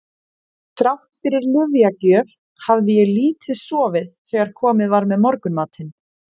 Þrátt fyrir lyfjagjöf hafði ég lítið sofið þegar komið var með morgunmatinn.